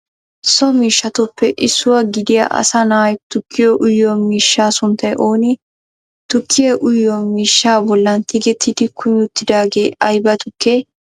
So miishshatuppe issuwa giddiya asaa naa'ay tukkiyo uyyiyo miishsha sunttay oone? tukkiya uyyiyo miishshaa bollan tiggettidi kumi uttidagee aybaa tukke?